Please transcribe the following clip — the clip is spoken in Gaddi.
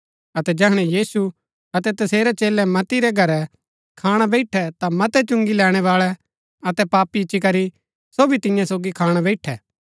अतै जैहणै यीशु अतै तसेरै चेलै मत्ती रै घरै खाणा बैईठै ता मतै चुंगी लैणैबाळै अतै पापी इच्ची करी सो भी तियां सोगी खाणा बैईठै